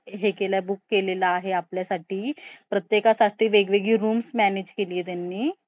कसे होते तर china चं मी माझं internship करत होतो MBA मध्ये होतो तेव्हा दोन हजार सोळा मध्ये पुण्याला रोहन builders ला तर तेव्हा एक आमच्या